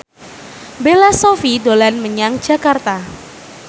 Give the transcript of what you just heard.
Bella Shofie dolan menyang Jakarta